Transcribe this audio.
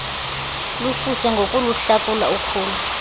lususe ngokuluhlakula ukhula